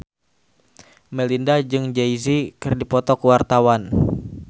Melinda jeung Jay Z keur dipoto ku wartawan